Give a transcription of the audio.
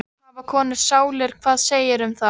Hafa konur sálir, hvað segirðu um það?